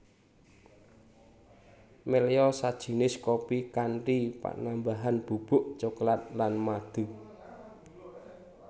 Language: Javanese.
Melya sajinis kopi kanthi panambahan bubuk cokelat lan madu